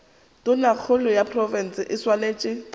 tonakgolo ya profense e swanetše